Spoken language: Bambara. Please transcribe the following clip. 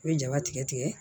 U bɛ jaba tigɛ tigɛ